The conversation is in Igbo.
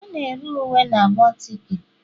A na-ere uwe na bootiki